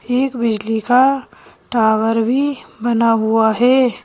एक बिजली का टावर भी बना हुआ है।